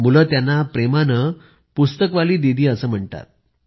मुलं त्यांना प्रेमानं पुस्तकवाली दीदी म्हणतात